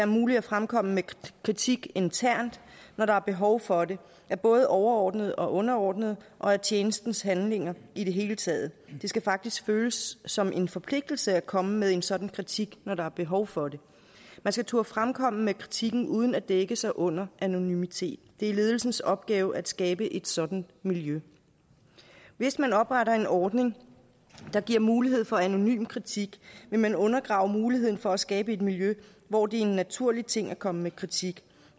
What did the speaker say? muligt at fremkomme med kritik internt når der er behov for det af både overordnede og underordnede og af tjenestens handlinger i det hele taget det skal faktisk føles som en forpligtelse at komme med en sådan kritik når der er behov for det man skal turde fremkomme med kritikken uden at dække sig under anonymitet det er ledelsens opgave at skabe et sådant miljø hvis man opretter en ordning der giver mulighed for anonym kritik vil man undergrave muligheden for at skabe et miljø hvor det er en naturlig ting at komme med kritik